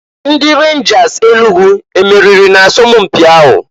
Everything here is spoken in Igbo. Ndi Renjas Enugu e meriri na asọmụ mpị ahụ?